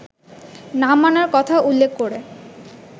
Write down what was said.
না মানার কথা উল্লেখ করে